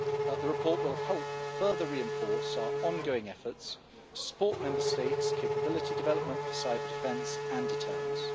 The report will help further reinforce our ongoing efforts to support Member States' capability development for cyber-defence and deterrence.